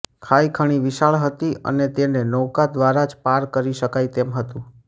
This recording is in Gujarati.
ખાઇ ખણી વિશાળ હતી અને તેને નૌકા દ્વારા જ પાર કરી શકાય તેમ હતું